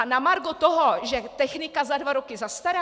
A na margo toho, že technika za dva roky zastará?